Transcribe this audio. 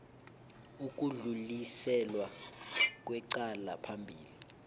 ukudluliselwa kwecala phambili